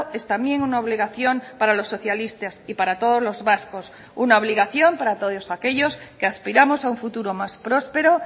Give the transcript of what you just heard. es también una obligación para los socialistas y para todos los vascos una obligación para todos aquellos que aspiramos a un futuro más próspero